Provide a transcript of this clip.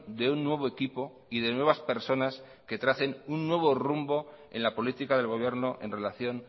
de un nuevo equipo y de nuevas personas que tracen un nuevo rumbo en la política del gobierno en relación